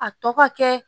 A tɔ ka kɛ